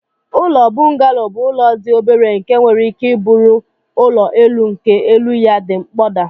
Ụlọ bungalo bu ụlọ di obere nke nwere ike buru ụlọ elu nke elu ya di mkpoda.